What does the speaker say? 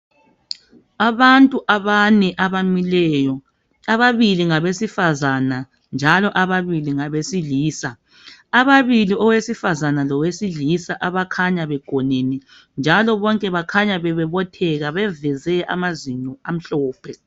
Abantu abane abamileyo ababili ngabesifazana njalo ababili ngabesilisa ababili owesifazana lowesilisa abakhanya begonene njalo bonke bakhanya bebobotheka beveze amazinyo amhlophe.